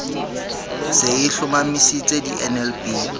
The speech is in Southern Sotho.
se e hlomamisitse di nlb